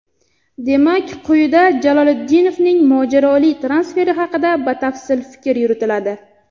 Demak, quyida Jaloliddinovning mojaroli transferi haqida batafsil fikr yuritiladi.